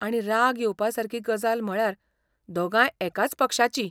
आणि राग येवपासारकी गजाल म्हळ्यार दोगांय एकाच पक्षाचीं.